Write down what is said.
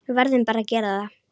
Verðum bara að gera það.